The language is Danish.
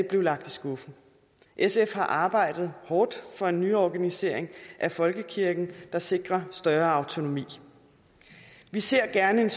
blev lagt i skuffen sf har arbejdet hårdt for en nyorganisering af folkekirken der sikrer større autonomi vi ser gerne